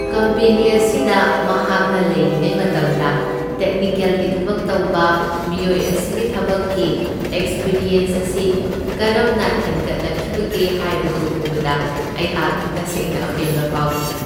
Company ꯑꯁꯤꯗ ꯃꯍꯥꯛꯅ ꯂꯩꯔꯤꯉꯩ ꯃꯇꯝꯗ ꯇꯦꯛꯅꯤꯀꯦꯜꯒꯤ ꯊꯕꯛ ꯇꯧꯕ ꯃꯤꯑꯣꯏ ꯑꯁꯤꯒꯤ ꯊꯕꯛꯀꯤ ꯑꯦꯛ꯭ꯁꯄꯔꯤꯌꯦꯟꯁ ꯑꯁꯤ ꯀꯔꯝꯅ ꯍꯦꯟꯒꯠꯂꯛꯈꯤꯕꯒꯦ ꯍꯥꯏꯕꯗꯨ ꯎꯕꯗ ꯑꯩꯍꯥꯛ ꯇꯁꯦꯡꯅ ꯑꯄꯦꯟꯕ ꯐꯥꯎꯈꯤ꯫